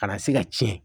Ka na se ka tiɲɛ